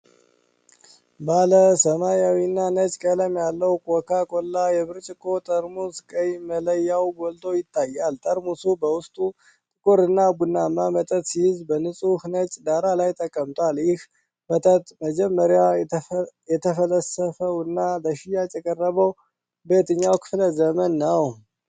ባለ ሰማያዊና ነጭ ቀለም ያለው ኮካ ኮላ የብርጭቆ ጠርሙስ፣ ቀይ መለያው ጎልቶ ይታያል። ጠርሙሱ በውስጡ ጥቁር ቡናማ መጠጥ ሲይዝ፣ በንጹህ ነጭ ዳራ ላይ ተቀምጧል። ይህ መጠጥ መጀመሪያ የተፈለሰፈውና ለሽያጭ የቀረበው በየትኛው ክፍለ ዘመን ነው?